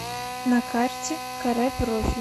на карте каре профи